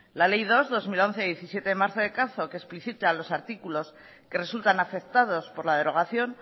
la ley dos barra dos mil once de diecisiete de marzo de caza que explicita los artículos que resultan afectados por la derogación